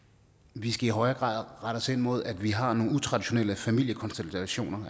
vi skal i højere grad rette os ind mod at vi har nogle utraditionelle familiekonstellationer